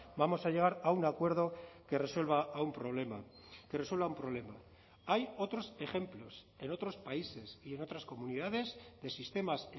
vamos a llegar a un acuerdo que resuelva a un problema que resuelva un problema hay otros ejemplos en otros países y en otras comunidades de sistemas